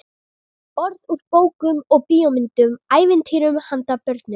Orð úr bókum og bíómyndum, ævintýrum handa börnum.